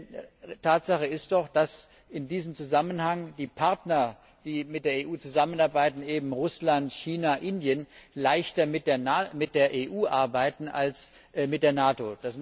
Denn Tatsache ist doch, dass in diesem Zusammenhang die Partner, die mit der EU zusammenarbeiten eben Russland, China, Indien leichter mit der EU arbeiten als mit der NATO.